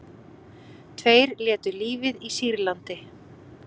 Tveir létu lífið í Sýrlandi